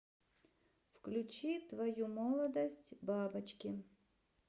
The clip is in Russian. включи твою молодость бабочки